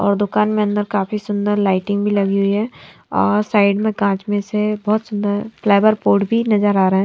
और दुकान में अंदर काफी सुंदर लाइटिंग भी लगी हुई है और साइड में कांच में से बहोत सुंदर फ्लेवर पॉट भी नजर आ रहा है।